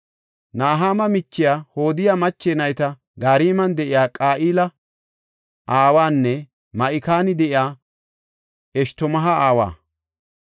Nahama miche, Hodiya mache nayti Gariman de7iya Qa7ila aawanne Ma7ikan de7iya Eshtamoo7a aawa.